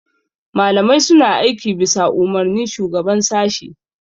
malamai suna aiki bisa Umarnin shugaban sashi